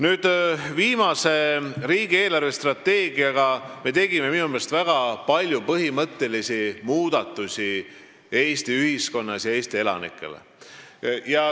Nüüd, viimase riigi eelarvestrateegiaga me tegime väga palju põhimõttelisi muudatusi Eesti ühiskonnas ja Eesti elanikele.